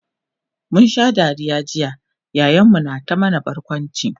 mun Sha Dariya jiya yayan mu na ta mana barkwanci